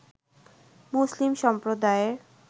মুসলিম সম্প্রদায়ের